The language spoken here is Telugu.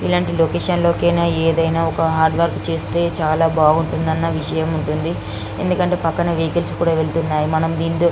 ఇలాంటి లొకేషన్ లో ఏదైనా ఒక హర్ద్వోర్క్ చేస్తే చాల బాగుంటుంది అణా విచయం ఉంటుంది ఎందుకు అంటే పక్కన వెహికల్స్ కూడా తిరుగుతున్నాయి.